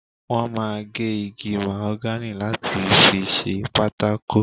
Wọ́n máa ń gé igi màhógánì láti fi ṣe pákó.